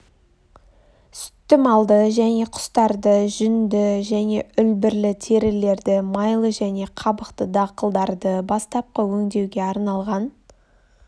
сүтті малды және құстарды жүнді және үлбірлі терілерді майлы және қабықты дақылдарды бастапқы өңдеуге арналған